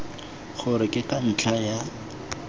gore ke ka ntlha ya